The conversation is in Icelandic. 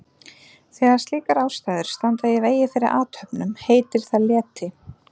Þegar slíkar ástæður standa í vegi fyrir athöfnum heitir það leti.